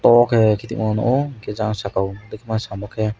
abo ke kiting wng jang sakai o bitima saywo khe.